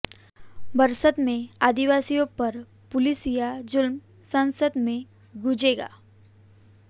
बस्तर में आदिवासियों पर पुलिसिया जुल्म संसद में गूंजेगा